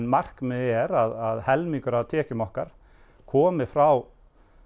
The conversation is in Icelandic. markmiðið er að helmingur af tekjum okkar komi frá